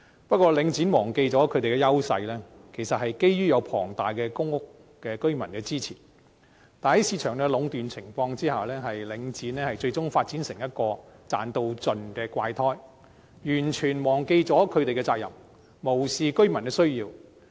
不過，領展忘記了其優勢其實是基於有龐大的公屋居民支持，但在市場壟斷的情況下，領展最終發展成為一個"賺到盡"的"怪胎"，完全忘記了其責任，無視居民的需要。